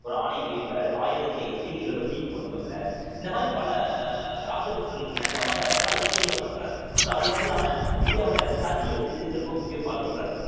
ஒரு ஆணையை வெளியிடறாரு ஆயிரத்தி ஐந்நூத்தி எழுபத்தி ஒன்பதுல இந்த மாதிரி பல ராஜபுத்திரர்களுக்கு இணக்கமாக பல விஷயங்கள பண்றார் so அது மட்டும் இல்லாம இந்தியாவுல சதிய ஒழிக்கிறதுக்கு ரொம்ப முக்கியம் பாடுபடுறார்